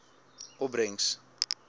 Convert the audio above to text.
opbrengs